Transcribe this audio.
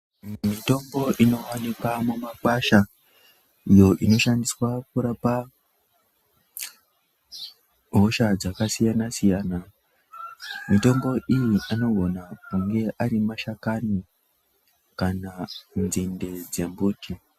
Mitombo inowanikwa mumakwasha, iyo inoshandixswa kurapa hosha dzakasiyana-siyana. Mitombo iyi anogona kunge ari mashakani kana nzinde dzembuti.